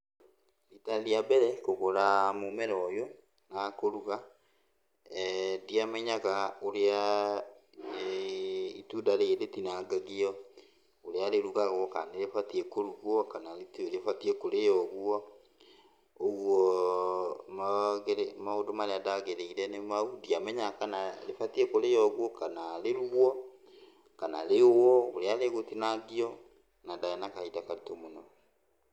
Rita rĩa mbere kũgũra mũmera ũyũ kana kũruga, ndiamenyaga ũrĩa itunda rĩrĩ rĩtinangagio, ũrĩa rĩrugagwo, kana nĩrĩbatiĩ kũrugwo, kana nĩatiĩ kũrĩo ũguo. Ũguo maũndũ marĩa ndagereire nĩ mau, ndiamenyaga kana rĩbatiĩ kũrĩo ũguo, kana rĩrugwo, kana rĩũwo, ũrĩa rĩgũtinangio, na ndarĩ na kahinda karitũ mũno.